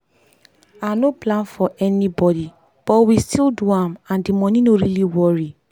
i no plan for anybody but we still do am and the money no really worry.